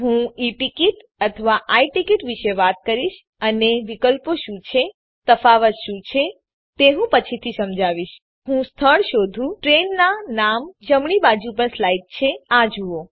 હું e ticket અથવા I ticket વિશે વાત કરીશ અને વિકલ્પો શું છે તફાવત શું છે તે હું પછીથી સમજાવીશ ચાલો હું સ્થળ શોધું ટ્રેઈનનાં નામ જમણી બાજુ પર સ્લાઈડ છે અને આ જુઓ